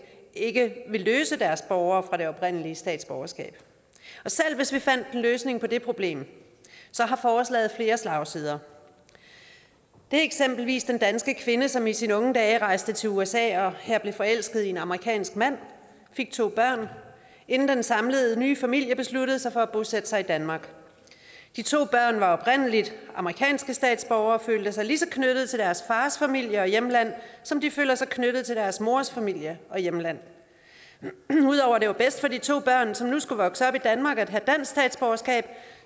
ikke vil løse deres borgere fra deres oprindelige statsborgerskab og selv hvis vi fandt en løsning på det problem har forslaget flere slagsider det er eksempelvis den danske kvinde som i sine unge dage rejste til usa og her blev forelsket i en amerikansk mand fik to børn inden den samlede nye familie besluttede sig for at bosætte sig i danmark de to børn var oprindelig amerikanske statsborgere og følte sig lige så knyttet til deres fars familie og hjemland som de føler sig knyttet til deres mors familie og hjemland ud over at det var bedst for de to børn som nu skulle vokse op i danmark at have dansk statsborgerskab